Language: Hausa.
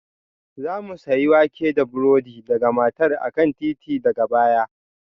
Za mu sayi wake da burodi daga matar a kan titi daga baya